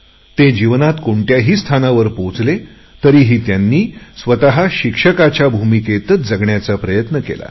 ते जीवनात कोणत्याही स्थानावर पोहोचले तरीही त्यांनी स्वत शिक्षकाच्या भूमिकेतच जगण्याचा प्रयत्न केला